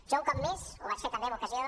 jo un cop més ho vaig fer també en ocasió